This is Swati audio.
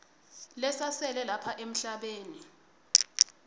lesasele lapha emhlabeni